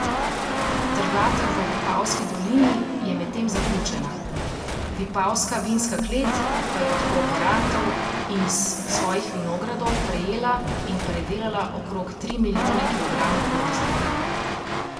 Trgatev v Vipavski dolini je medtem zaključena, vipavska vinska klet pa je od kooperantov in iz svojih vinogradov prejela in predelala okrog tri milijone kilogramov grozdja.